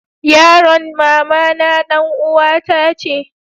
yaron mamana dan uwa ta ce